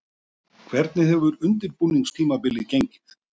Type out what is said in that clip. Hvernig hefur undirbúningstímabilið gengið?